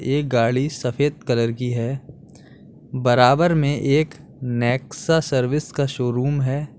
एक गाड़ी सफेद कलर की है बराबर में एक नेक्सा सर्विस का शोरूम है।